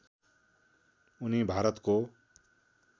उनी भारतको